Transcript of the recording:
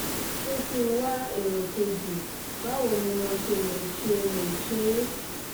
ṣé kí n wá èrò kejì báwo ni mo ṣe lè ṣe lè ṣe é?